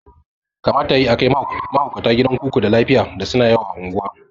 Kamata yayi akai mahaukata gidan kuku da lafiya da suna yawo a unguwa